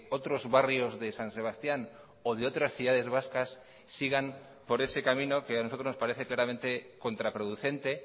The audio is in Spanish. otros barrios de san sebastián o de otras ciudades vascas sigan por ese camino que a nosotros nos parece claramente contraproducente